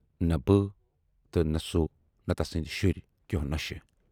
نہٕ بہٕ تہٕ نَہ سُہ نہٕ تَسٕندۍ شُرۍ کٮ۪و نۅشہِ۔